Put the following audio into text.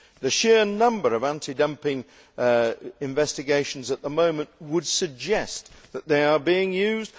The sheer number of anti dumping investigations at the moment would suggest that they are being so used.